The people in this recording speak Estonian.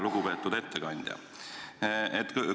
Lugupeetud ettekandja!